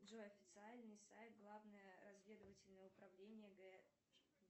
джой официальный сайт главное разведовательное управление г